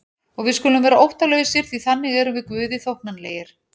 Og við skulum vera óttalausir því þannig erum við Guði þóknanlegir.